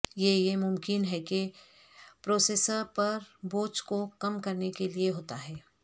یہ یہ ممکن ہے کے پروسیسر پر بوجھ کو کم کرنے کے لئے ہوتا ہے